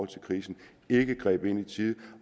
til krisen ikke greb ind i tide